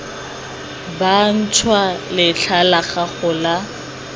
bantšhwa letlha la gago la